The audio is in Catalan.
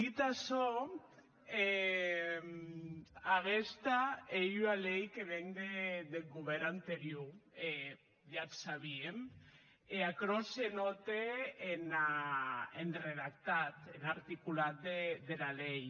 dit açò aguesta ei ua lei que ven deth govèrn anterior e ja ac sabíem e aquerò se nòte en redactat en articulat dera lei